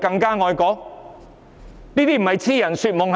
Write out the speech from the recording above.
這不是癡人說夢是甚麼？